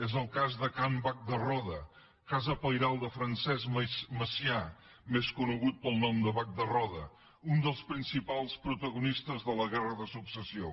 és el cas de can bac de roda casa pairal de francesc macià més conegut pel nom de bac de roda un dels principals protagonistes de la guerra de successió